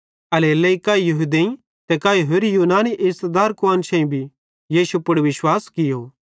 एल्हेरेलेइ काई यहूदेईं ते काई होरि यूनानी इज़्ज़तदार कुआन्शेईं भी यीशु पुड़ विश्वास कियो